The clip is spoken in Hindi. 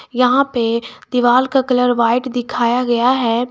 यहां पे दीवाल का कलर व्हाइट दिखाया गया है।